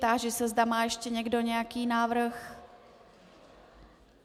Táži se, zda má ještě někdo nějaký návrh.